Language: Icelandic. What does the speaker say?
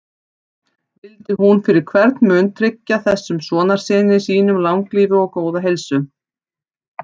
Vildi hún fyrir hvern mun tryggja þessum sonarsyni sínum langlífi og góða heilsu.